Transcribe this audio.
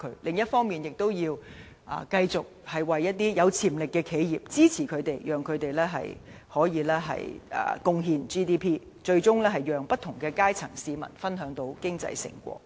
另一方面，我們應繼續支持有潛力的企業，讓他們可貢獻 GDP， 最終讓不同階層市民分享經濟成果。